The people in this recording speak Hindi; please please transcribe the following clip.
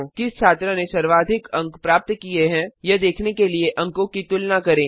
किस छात्र ने सर्वाधिक अंक प्राप्त किए हैं यह देखने के लिए अंकों की तुलना करें